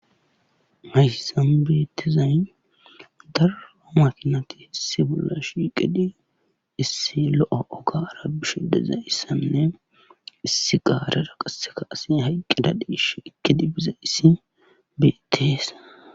Hayssan beettizay daro makinati issi bolla shiiqidi issi lo7o ogaara bishe dizayssanne issi gaarera qasse asi hayqqida deeshe ekkidi bizayssi beettees.